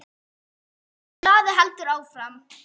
Og blaðið heldur áfram